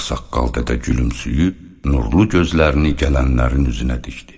Ağsaqqal dədə gülümsüyüb, nurlu gözlərini gələnlərin üzünə dikdi.